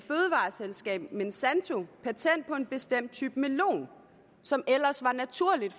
selskab monsanto patent på en bestemt type melon som ellers var naturligt